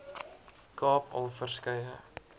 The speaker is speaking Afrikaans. kaap al verskeie